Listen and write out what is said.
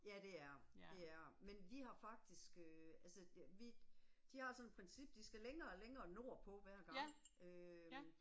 Ja det er det, det er det. Men de har faktisk øh altså det vi, de har sådan et princip, de skal længere og længere nordpå hver gang øh